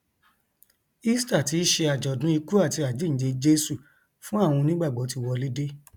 easter tí í ṣe àjọdún ikú àti àjínde jesu fún àwọn onígbàgbọ ti wọlé dé